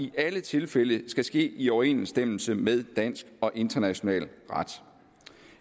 i alle tilfælde skal ske i overensstemmelse med dansk og international ret